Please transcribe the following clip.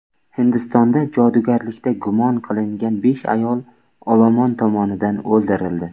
Hindistonda jodugarlikda gumon qilingan besh ayol olomon tomonidan o‘ldirildi.